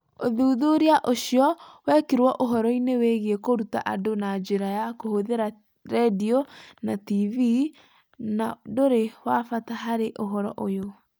Ũthuthuria ũcio wekĩrirũo ũhoro-inĩ wĩgiĩ kũruta andũ na njĩra ya kũhũthĩra redio na TV, na ndũrĩ wa bata harĩ ũhoro ũyũ.